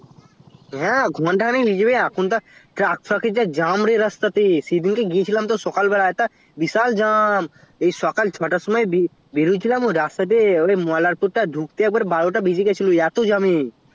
হ্যাঁ ঘন্টা খানিক লেগিজাবে এখন তো তে jam রে রাস্তাতে সেইদিন গিয়েছিলাম তোর সকালবেলায় তা বিশাল jam এই সকাল ছয় তার সময় বের বের হয়েছিলামই রাস্তাতে মল্লার পুর টা ঢুকতেই একবারে বারো তা বেজে গেছিলো এতো jam এ